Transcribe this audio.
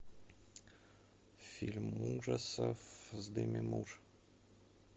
фильм ужасов с деми мур